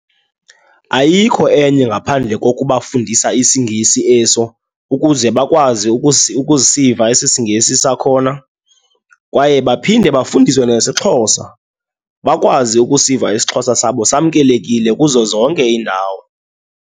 Ayikho enye ngaphandle kokubafundisa isiNgisi eso ukuze bakwazi ukusiva esi siNgisi sakhona. Kwaye baphinde bafundiswe nesiXhosa, bakwazi ukusiva isiXhosa sabo samkelekile kuzo zonke iindawo.